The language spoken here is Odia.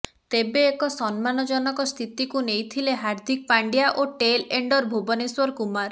ତେବେ ଏକ ସମ୍ମାନ ଜନକ ସ୍ଥିତିକୁ ନେଇଥିଲେ ହାର୍ଦ୍ଦିକ ପାଣ୍ଡ୍ୟା ଓ ଟେଲ୍ ଏଣ୍ଡର୍ ଭୁବନେଶ୍ୱର କୁମାର